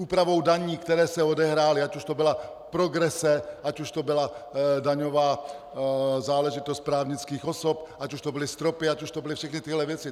Úpravou daní, které se odehrály, ať už to byla progrese, ať už to byla daňová záležitost právnických osob, ať už to byly stropy, ať už to byly všechny tyhle věci.